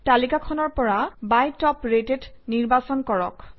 তালিকাখনৰ পৰা by top rated নিৰ্বাচন কৰক